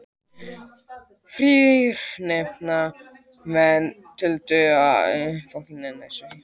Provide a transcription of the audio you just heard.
Þrír nefndarmenn töldu að svo ætti að vera en þrír voru á móti.